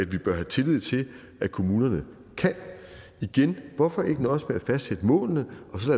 vi bør have tillid til at kommunerne kan igen hvorfor ikke nøjes med at fastsætte målene og så